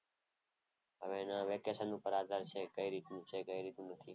હવે એના વેકેશન પર આધાર છે. કઈ રીતનું છે? કઈ રીતનું નથી?